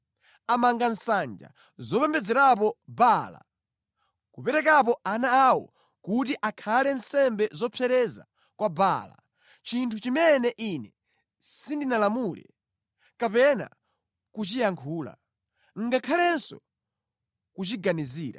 Amanga nsanja zopembedzerapo Baala, kuperekapo ana awo kuti akhale nsembe zopsereza kwa Baala, chinthu chimene Ine sindinalamule kapena kuchiyankhula, ngakhalenso kuchiganizira.